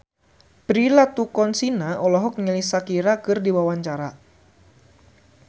Prilly Latuconsina olohok ningali Shakira keur diwawancara